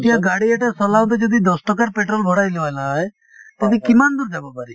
এতিয়া গাড়ী এটা চলাওঁতে যদি দচ টকাৰ পেট্ৰল ভৰাই লল হয় তেতিয়া কিমান দূৰ যাব পাৰি ?